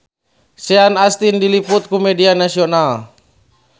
Sean Astin diliput ku media nasional